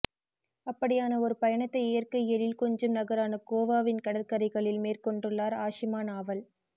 அப்படியான ஒரு பயணத்தை இயற்கை எழில் கொஞ்சும் நகரான கோவாவின் கடற்கரைகளில் மேற்கொண்டுள்ளார் ஆஷிமா நாவல்